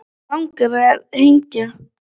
Mig langar að hengja